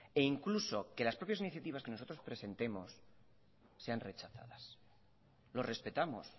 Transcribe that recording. e incluso que las propias iniciativas que nosotros presentemos sean rechazadas lo respetamos